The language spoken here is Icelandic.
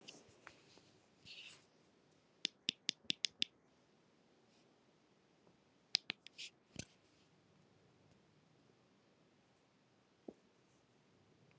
Þeir lifa mest á birkifræi.